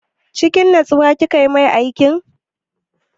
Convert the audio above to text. Cikin natsuwa kika yi mai aikin?